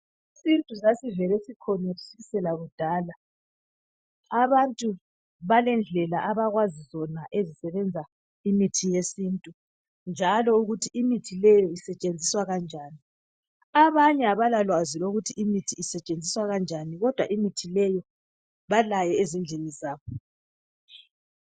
isintu sasvele sikhona kusukisela kudala abantu balendlela abakwazi zona ukuzi sebenza imithi yesintu njalo ukuthi imithi leyo isetshenziswa kanjani abanye abala lwazi lokuthi imithi isetshenziswa kanjani kodwa imithi leyi balayo ezindlini zabo